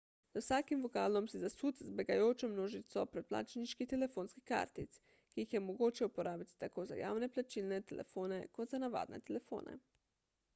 za vsakim vogalom si zasut z begajočo množico predplačniških telefonskih kartic ki jih je mogoče uporabiti tako za javne plačilne telefone kot za navadne telefone